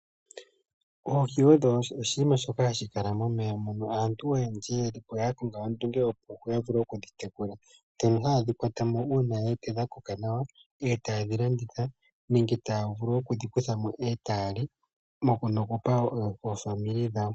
Oohi odho iinima mbyoka hayi kala momeya, aantu oyendji oya konga ondunge opo ya vule okudhi tekula, tango haye dhi kwatamo uuna ye wete dha koka nawa, eta ye dhi landitha nenge ota vulu oku dhi kuthamo eta yali noku pa oofamili dhawo.